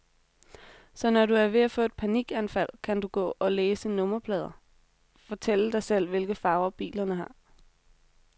Så når du er ved at få et panikanfald, kan du gå og læse nummerplader, fortælle dig selv, hvilke farver bilerne har.